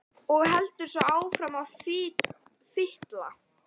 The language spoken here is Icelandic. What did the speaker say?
Og heldur svo áfram að fitla.